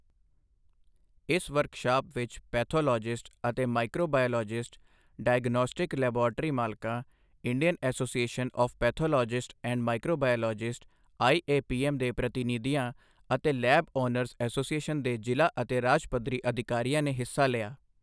ਇਸ ਵਰਕਸ਼ਾਪ ਵਿੱਚ ਪੈਥੋਲੋਜਿਸਟ ਅਤੇ ਮਾਈਕ੍ਰੋਬਾਇਓਲੋਜਿਸਟਸ, ਡਾਇਗਨੌਸਟਿਕ ਲੈਬਾਰਟਰੀ ਮਾਲਕਾਂ, Indian association of pathologist and microbiologists IAPM ਦੇ ਪ੍ਰਤੀਨਿਧੀਆਂ ਅਤੇ ਲੈਬ ਓਨਰਜ਼ ਐਸੋਸੀਏਸ਼ਨ ਦੇ ਜ਼ਿਲ੍ਹਾ ਅਤੇ ਰਾਜ ਪੱਧਰੀ ਅਧਿਕਾਰੀਆਂ ਨੇ ਹਿੱਸਾ ਲਿਆ।